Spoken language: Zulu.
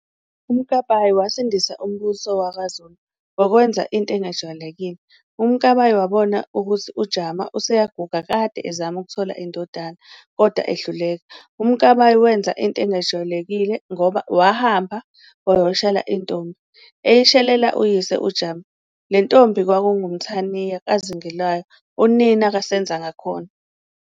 uMkabayi wasindisa umbuso wakwaZulu ngokwenza into engajwayelekile, uMkabayi wabona ukuthi uJama useyaguga kade ezama ukuthola indodana kodwa ehluleka. uMkabayi wenza into engajwayelekile ngoba wahamba wayoshela intombi, eyishelela uyise uJama. lentombi kwakungu Mthaniya kaZingelwayo, unina kaSenzangakhona.